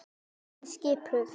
Hún er skipuð.